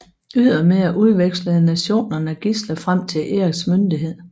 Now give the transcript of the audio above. Ydermere udvekslede nationerne gidsler frem til Eriks myndighed